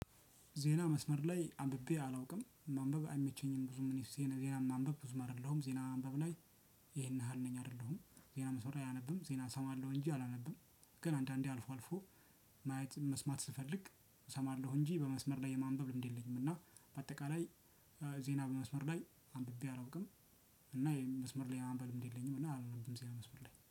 ዜና መስመር ላይ አንብቤ አላውቅም። ማንበብ አይመቸኝም። ብዙ ምን ይስሄን ዜናን ማንበብ ብዙም አይደለሁም። ዜና ማንበብ ላይ ይሄን ያህል ነኝ አይደለሁም። ዜና መስመር ዜና እሰማለሁ እንጂ አላነብም። ግን አንዳንዴ አልፎ አልፎ ማየት መስማት ስፈልግ እሰማለሁ እንጂ በመስመር ላይ የማንበብ ልምድ የለኝም። እና በአጠቃላይ- ዜና በመስመር ላይ አንብቤ አላውቅም። እና- መስመር ላይ የማንበብ ልምድ የለኝም እና አላነብም ዜና መስመር ላይ።